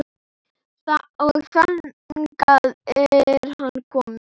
Og þangað er hann kominn.